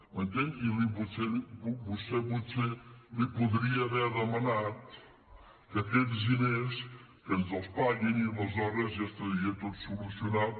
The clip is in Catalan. m’entén i vostè potser li podria haver demanat que aquests diners que ens els paguin i aleshores ja estaria tot solucionat